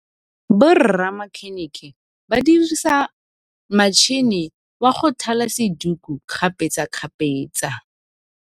Borra makhênêkê ba dirisa matšhine wa go thala sedikô kgapetsa kgapetsa.